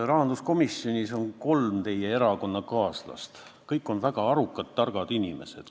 Rahanduskomisjonis on kolm teie erakonnakaaslast, kõik on väga arukad, targad inimesed.